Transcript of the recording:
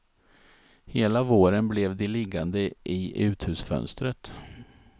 Hela våren blev de liggande i uthusfönstret.